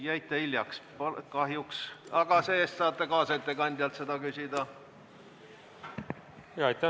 Jäite hiljaks kahjuks, aga saate oma küsimuse esitada kaasettekandjale.